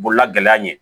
Bolola gɛlɛya ɲɛ